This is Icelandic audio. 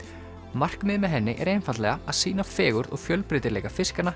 markmiðið með henni er einfaldlega að sýna fegurð og fjölbreytileika fiskanna